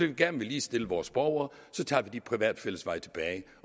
vi gerne vil ligestille vores borgere tager vi de private fællesveje tilbage